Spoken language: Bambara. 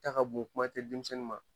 Ta ka bon kuma te denmisɛnw ma.